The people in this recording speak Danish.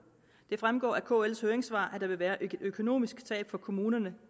det fremgår af kls høringssvar at der vil være et økonomisk tab for kommunerne